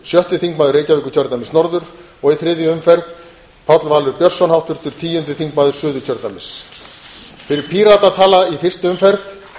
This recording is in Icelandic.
sjötti þingmaður reykjavíkurkjördæmis norður og í þriðju umferð páll valur björnsson háttvirtur tíundi þingmaður suðurkjördæmis fyrir pírata tala í fyrstu umferð